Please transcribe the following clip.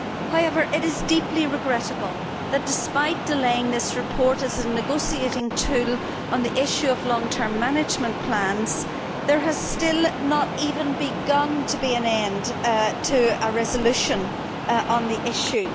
However, it is deeply regrettable that despite delaying this report as a negotiating tool on the issue of long term management plans, there has still not even begun to be an end to a resolution on the issue.